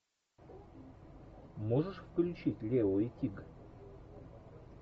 можешь включить лео и тиг